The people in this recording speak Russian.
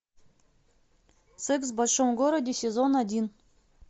секс в большом городе сезон один